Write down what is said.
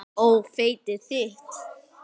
Nei ó nei.